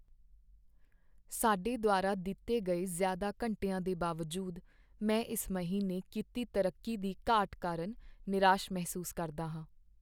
ਸਾਡੇ ਦੁਆਰਾ ਦਿੱਤੇ ਗਏ ਜ਼ਿਆਦਾ ਘੰਟਿਆਂ ਦੇ ਬਾਵਜੂਦ ਮੈਂ ਇਸ ਮਹੀਨੇ ਕੀਤੀ ਤਰੱਕੀ ਦੀ ਘਾਟ ਕਾਰਨ ਨਿਰਾਸ਼ ਮਹਿਸੂਸ ਕਰਦਾ ਹਾਂ।